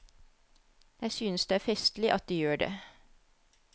Jeg synes det er festlig at de gjør det.